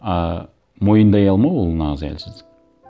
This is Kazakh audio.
а мойындай алмау ол нағыз әлсіздік